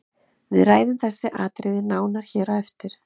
Við ræðum þessi atriði nánar hér á eftir.